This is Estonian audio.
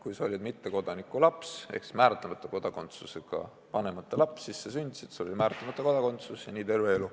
Kui sa olid mittekodaniku laps ehk määratlemata kodakondsusega vanemate laps, said sa sündides määratlemata kodakondsuse ja nii oli terve elu.